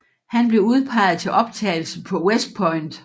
Han blev udpeget til optagelse på West Point